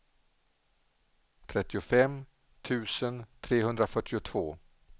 trettiofem tusen trehundrafyrtiotvå